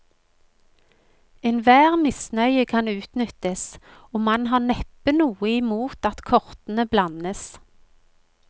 Enhver misnøye kan utnyttes, og man har neppe noe imot at kortene blandes.